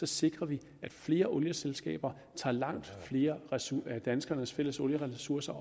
sikrer vi at flere olieselskaber tager langt flere af danskernes fælles olieressourcer